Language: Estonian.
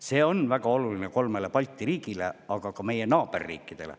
See on väga oluline kolmele Balti riigile, aga ka meie naaberriikidele.